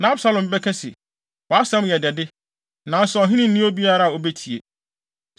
Na Absalom bɛka se, “Wʼasɛm yɛ dɛ de, nanso ɔhene nni obiara a obetie.